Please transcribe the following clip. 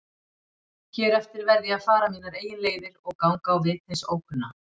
Hér eftir verð ég að fara mínar eigin leiðir og ganga á vit hins ókunna.